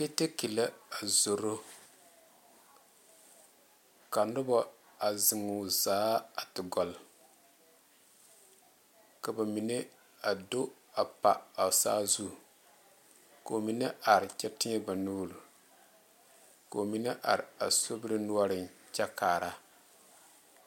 Lɔɔrɛ la a zoro ka noba zeŋ o zaa a te gɔle ka ba mine a do a gba a saazu ka ba mine are kyɛ teɛ ba nuure ka ba mine are a sobiri noɔreŋ kyɛ kaa